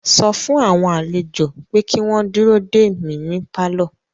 Sọ fún àwọn àlejò pé kí wọ́n dúró dè mí ní pálọ̀